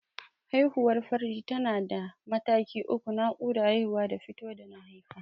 Haihuwar farji tana da mataki uku: Naƙuda, Haihuwa da fito da mahaifa.